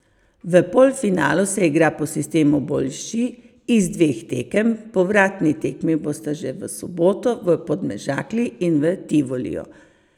V polfinalu se igra po sistemu boljši iz dveh tekem, povratni tekmi bosta že v soboto v Podmežakli in v Tivoliju.